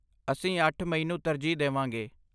ਅਸੀਂ ਅੱਠ ਮਈ ਨੂੰ ਤਰਜੀਹ ਦੇ ਵਾਂਗੇ